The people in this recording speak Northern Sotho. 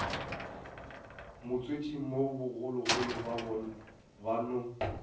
motswetšing mo bogologolo ba no